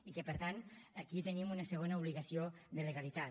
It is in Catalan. i que per tant aquí tenim una segona obligació de legalitat